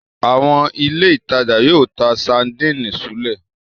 Àwọn ilé-ìtajà yóò ta sadínì súlẹ̀.